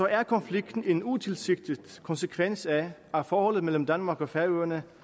er konflikten en utilsigtet konsekvens af at forholdet mellem danmark og færøerne